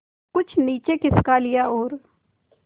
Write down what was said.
कुछ नीचे खिसका लिया और